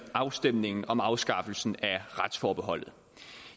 afstemningen om afskaffelsen af retsforbeholdet